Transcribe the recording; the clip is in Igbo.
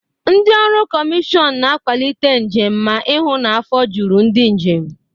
Ndị ọrụ kọmịshọn na-akwalite njem ma ihụ na afọ juru ndị njem.